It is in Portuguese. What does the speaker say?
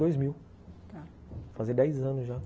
Em dois mil, tá, vai fazer dez anos já.